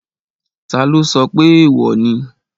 Taló sọ pé èèwò ni?